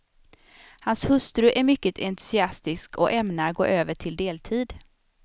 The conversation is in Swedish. Hans hustru är mycket entusiastisk och ämnar gå över till deltid.